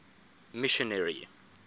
missionary